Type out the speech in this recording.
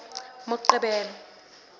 moqebelo